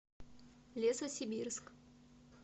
лесосибирск